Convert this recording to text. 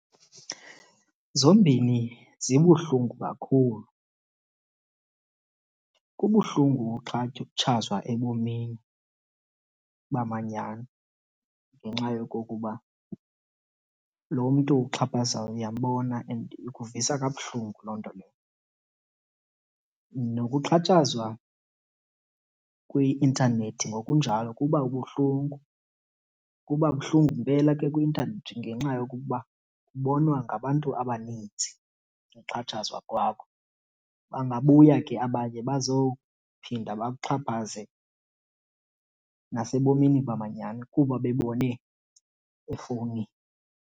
Zombini zibuhlungu kakhulu. Kubuhlungu uxhatshazwa ebomini bamanyani ngenxa yokokuba lo mntu ukuxhaphazayo uyambona and ikuvisa kabuhlungu loo nto leyo. Nokuxhatshazwa kwi-intanethi ngokunjalo kuba ubuhlungu. Kuba buhlungu mpela ke kwi-intanethi ngenxa yokokuba ubonwa ngabantu abaninzi uxhatshazwa kwakho. Bangabuya ke abanye bazophinda bakuxhaphaze nasebomini bamanyhani kuba bebone efowunini.